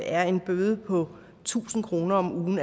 er en bøde på tusind kroner om ugen